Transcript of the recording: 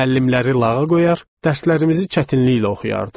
Müəllimləri lağa qoyar, dərslərimizi çətinliklə oxuyardıq.